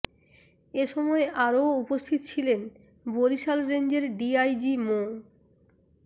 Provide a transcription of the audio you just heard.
এ সময় আরও উপস্থিত ছিলেন বরিশাল রেঞ্জের ডিআইজি মো